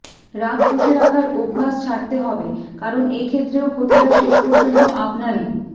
রাগ পুষে রাখার অভ্যাস ছাড়তে হবে কারণ এ ক্ষেত্রেও ক্ষতিটা শেষ পর্যন্ত আপনারই